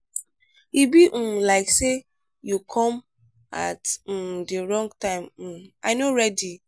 e be um like say you come at um the wrong time um i no ready.